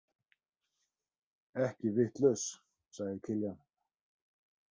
Ekki vitlaus, sagði Kiljan.